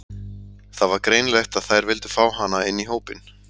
Það var greinilegt að þær vildu fá hana inn í hópinn.